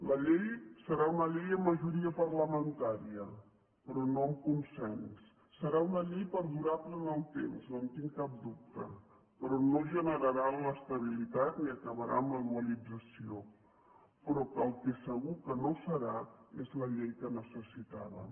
la llei serà una llei amb majoria parlamentària però no amb consens serà una llei perdurable en el temps no en tinc cap dubte però no generarà l’estabilitat ni acabarà amb la dualització però que el que segur que no serà és la llei que necessitàvem